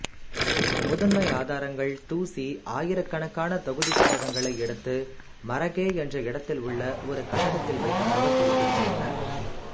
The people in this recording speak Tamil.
முதன்மை ஆதாரங்கள் தூசீ ஆயிரக்கணக்கான தொகுதிப் புத்தகங்களை எடுத்து மரகே என்ற இடத்தில் உள்ள ஒரு கட்டடத்தில் வைத்ததாகக் குறிப்பிடுகின்றன